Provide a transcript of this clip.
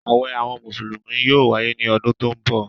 Àwẹ̀ àwọn Mùsùlùmí yóò wáyé ní ọdún tó ń bọ̀.